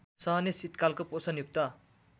सहने शीतकालको पोषणयुक्त